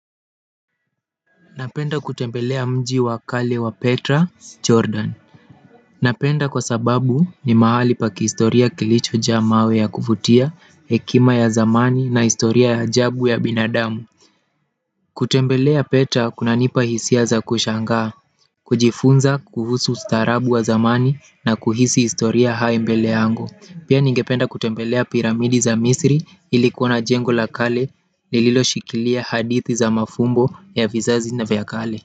Napenda kutembelea mji wa kale wa Petra, Jordan. Napenda kwa sababu ni mahali pa kihistoria kilicho jaa mawe ya kuvutia, hekima ya zamani na historia ya ajabu ya binadamu. Kutembelea Petra kuna nipa hisia za kushangaa, kujifunza kuhusu ustaharabu wa zamani na kuhisi historia hayo mbele yangu pia ningependa kutembelea piramidi za misri ili kuona jengo la kale lililo shikilia hadithi za mafumbo ya vizazi na vya kale kwa hivyo.